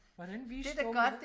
hvordan vi